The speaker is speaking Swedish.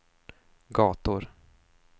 gator